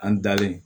An dalen